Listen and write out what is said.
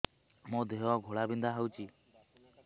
ମୋ ଦେହ ଘୋଳାବିନ୍ଧା ହେଉଛି